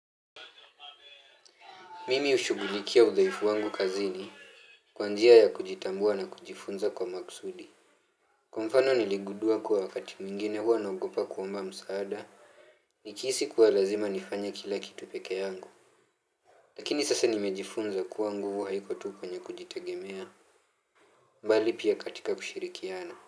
Mimi hushugulikia udhaifu wangu kazini kwa njia ya kujitambua na kujifunza kwa maksudi. Kwa mfano niligundua kuwa wakati mwingine huwa naogopa kwamba msaada. Nikihisi kuwa lazima nifanye kila kitu pekee yangu. Lakini sasa nimejifunza kuwa nguvu haiko tu penye kujitegemea. Bali pia katika kushirikiana.